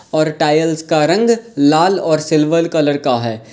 और टाइल्स का रंग लाल और सिल्वर कलर का है।